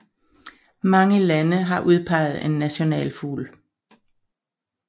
Mange lande har udpeget en nationalfugl